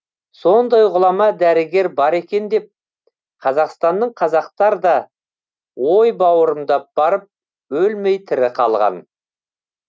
сондай ғұлама дәрігер бар екен деп қазақстанның қазақтар да ой бауырымдап барып өлмей тірі қалған